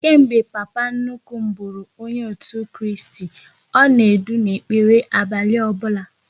Kemgbe papa nnukwu m bụrụ onye otu Kristi, ọ na-edu n'ekpere abalị ọbụla